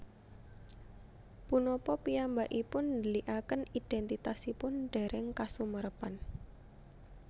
Punapa piyambakipun ndhelikaken idhèntitasipun dèrèng kasumerepan